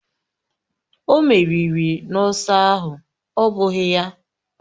O meriri n’ọsọ ahụ, ọ́ bụghị ya?